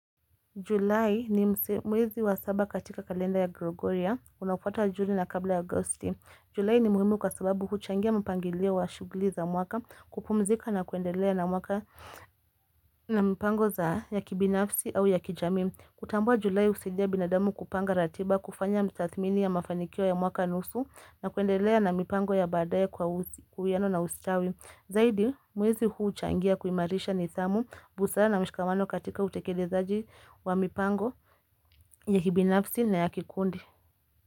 July ni mwezi wa saba katika kalenda ya Gregoria, unaofuata juni na kabla ya Agosti. July ni muhimu kwa sababu huchangia mpangilio wa shughuli za mwaka kupumzika na kuendelea na mwaka na mpango za ya kibinafsi au ya kijamii. Kutambua July husaidia binadamu kupanga ratiba, kufanya msathmini ya mafanikio ya mwaka nusu na kuendelea na mipango ya baadae kwa usiwiano na ustawi. Zaidi mwezi huu uchangia kuimarisha nidhamu busara na mshikamano katika utekelezaji wa mipango ya hibinafsi na ya kikundi.